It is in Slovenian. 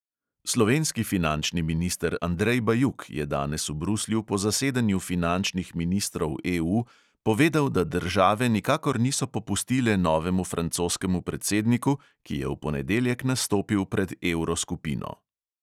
Slovenski finančni minister andrej bajuk je danes v bruslju po zasedanju finančnih ministrov EU povedal, da države nikakor niso popustile novemu francoskemu predsedniku, ki je v ponedeljek nastopil pred evroskupino.